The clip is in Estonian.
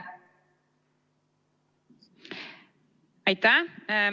Aitäh!